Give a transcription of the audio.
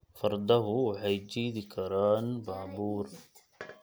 Fardoku waxay jiidi karaan baabuur